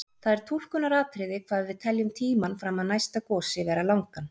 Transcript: Það er túlkunaratriði hvað við teljum tímann fram að næsta gosi vera langan.